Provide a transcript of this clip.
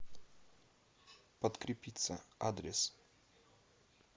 подкрепицца адрес